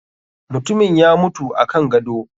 Mutumin ya mutu akan gado.